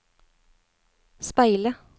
speile